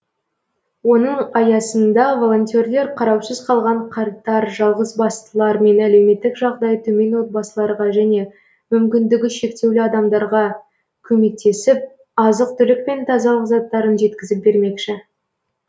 оның аясында волонтерлер қараусыз қалған қарттар жалғызбастылар мен әлеуметтік жағдайы төмен отбасыларға және мүмкіндігі шектеулі адамдардға көмектесіп азық түлік пен тазалық заттарын жеткізіп бермекші